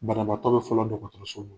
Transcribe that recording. Banabaatɔ be fɔlɔ la .